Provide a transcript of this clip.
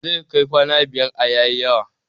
Zai kai kwana biyar a yayi yawa